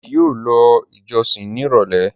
Deji yíò ló ìjósìn ní irọlẹ.